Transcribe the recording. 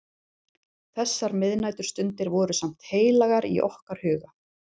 Þessar miðnæturstundir voru samt heilagar í okkar huga.